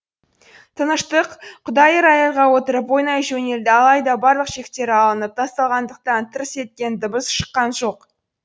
тыныштық құдайы рояльға отырып ойнай жөнелді алайда барлық шектері алынып тасталғандықтан тырс еткен дыбыс шыққан жоқ